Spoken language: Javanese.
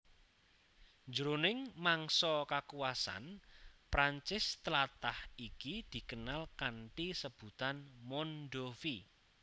Jroning mangsa kakuwasan Prancis tlatah iki dikenal kanthi sebutan Mondovi